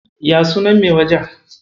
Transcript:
Ya sunan mai wajen?